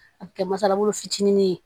A bɛ kɛ masalabolo fitinin ye